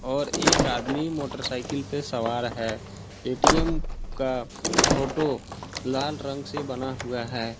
और एक आदमी मोटर साइकिल पे सवार है ए_टी_एम का फोटो लाल रंग से बना हुआ है।